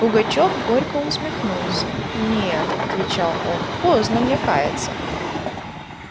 пугачёв горько усмехнулся нет отвечал он поздно мне каяться